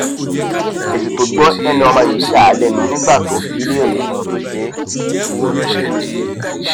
èsì tó gbọ lẹnu ọmọ yìí yà á lẹnu nígbà tó bi í léèrè ohun tó ṣe é